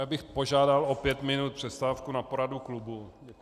Já bych požádal o pět minut přestávku na poradu klubu.